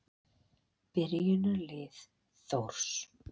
Byrjunarlið Þórs.